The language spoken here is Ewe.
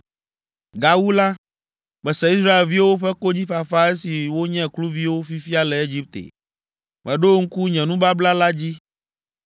“Gawu la, mese Israelviwo ƒe konyifafa esi wonye kluviwo fifia le Egipte. Meɖo ŋku nye nubabla la dzi.